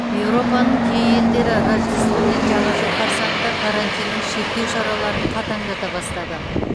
еуропаның кей елдері рождество мен жаңа жыл қарсаңында карантиннің шектеу шараларын қатаңдата бастады